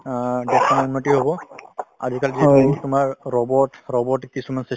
অ দেশৰ উন্নতি হব আজিকালি তোমাৰ robot। robotic কিছুমান system